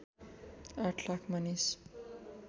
८ लाख मानिस